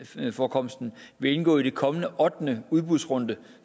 svaneforekomsten vil indgå i den kommende ottende udbudsrunde